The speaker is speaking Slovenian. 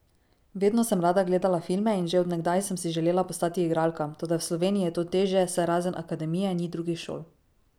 Vedno sem rada gledala filme in že od nekdaj sem si želela postati igralka, toda v Sloveniji je to težje, saj razen akademije ni drugih šol.